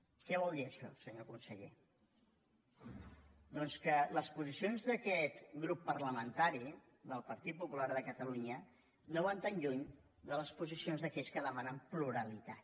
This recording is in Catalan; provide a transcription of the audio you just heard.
què vol dir això senyor conseller doncs que les posicions d’aquest grup parlamentari del partit popular de catalunya no van tan lluny de les posicions d’aquells que demanen pluralitat